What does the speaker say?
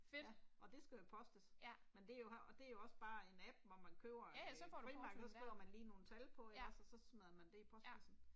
Fedt. Ja. Ja ja så får du porten der. Ja. Ja